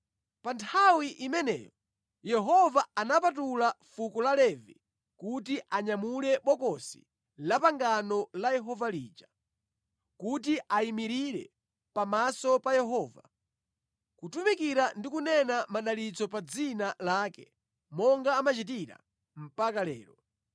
Pa nthawi imeneyo Yehova anapatula fuko la Levi kuti anyamule bokosi la pangano la Yehova lija, kuti ayimirire pamaso pa Yehova, kutumikira ndi kunena madalitso pa dzina lake monga amachitira mpaka lero.